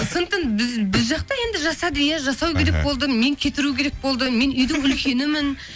сондықтан біз жақта енді жасады иә жасау керек болды мені кетіру керек болды мен үйдің үлкенімін